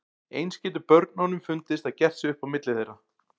Eins getur börnunum fundist að gert sé upp á milli þeirra.